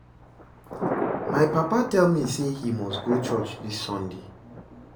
My papa tell me say he must go church dis sunday